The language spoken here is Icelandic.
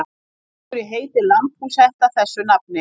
Af hverju heitir lambhúshetta þessu nafni?